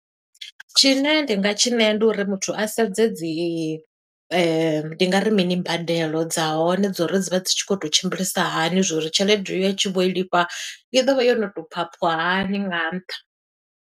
Tshine nda nga tshi ṋea ndi uri muthu a sedze dzi ndi nga ri mini, mbadelo dza hone dzo uri dzi vha dzi tshi khou tou tshimbilisa hani, zwo uri tshelede iyo a tshi vho i lifha, i ḓo vha yo no to phaṱhwa hani nga nṱha.